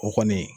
O kɔni